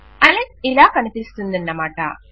Alex ఇలా కనిపిస్తుందన్నమాట